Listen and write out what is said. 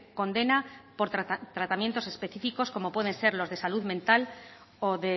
condena por tratamientos específicos como pueden ser los de salud mental o